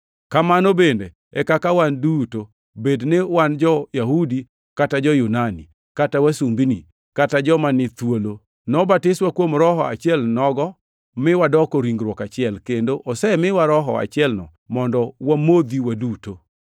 Kamano bende e kaka wan duto, bed ni wan jo-Yahudi kata jo-Yunani, kata wasumbini, kata joma ni thuolo, nobatiswa kuom Roho achielnogo mi wadoko ringruok achiel, kendo osemiwa Roho achielno mondo wamodhi waduto.